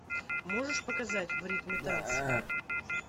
можешь показать в ритме танца